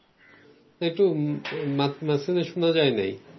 একটু মা~মাঝখান দিয়ে শুনা যায় নাই